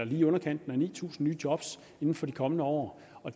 i underkanten af ni tusind nye job inden for de kommende år og